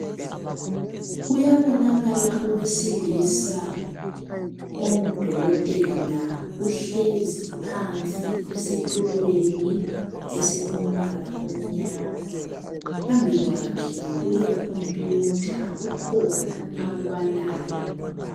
Kuyabonakala owesilisa ongudokotela. Uhlezi phansi esitulweni esilombala omnyama. Phambi kwakhe kulekhompuyutha kukhona akubalayo.